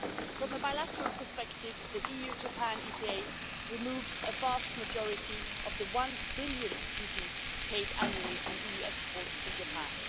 From a bilateral perspective, the EU Japan EPA removes the vast majority of the EUR 1 billion duties paid annually on EU exports to Japan.